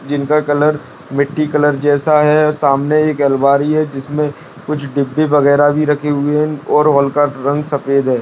जिनका कलर मिट्टी कलर जैसा है सामने एक अलमारी है जिसमें कुछ डिब्बी वगैरह भी रखी हुई है और हॉल का रंग सफेद है।